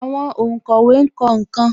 Àwọn onkowe kọ nkan